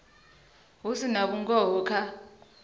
hu si na vhungoho kha